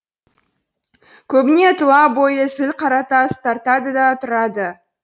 көбіне тұла бойы зіл қаратас тартады да тұрады